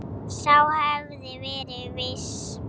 Sá hafði verið viss!